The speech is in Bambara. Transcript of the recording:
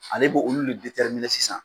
Ale bɛ olu de sisan.